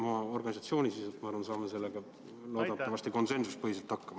Oma organisatsioonis, ma arvan, me saame sellega loodetavasti konsensusega hakkama.